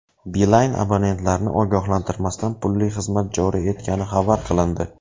Beeline abonentlarni ogohlantirmasdan pulli xizmat joriy etgani xabar qilindi.